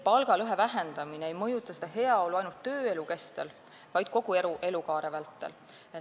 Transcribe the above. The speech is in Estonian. Palgalõhe vähendamine ei mõjuta heaolu ainult tööelu kestel, vaid kogu elukaare vältel.